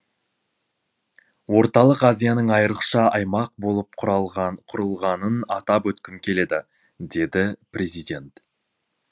орталық азияның айрықша аймақ болып құрылғанын атап өткім келеді деді президент